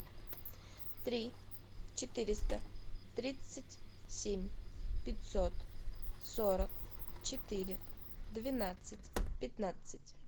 три четыреста тридцать семь пятьсот сорок четыре двенадцать пятнадцать